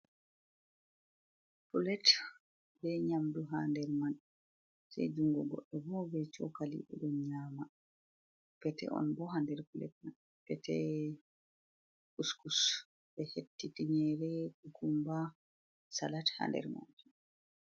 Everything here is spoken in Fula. Pulet be nyamɗu ha nɗer man. Sei jungugo goɗɗo bo be shokali be ɗon nyama. pete on bo ha nder pulet man. pete kuskus be hetti tinygere, gumba salat ha nɗer majum.